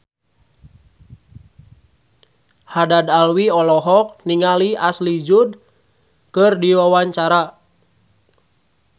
Haddad Alwi olohok ningali Ashley Judd keur diwawancara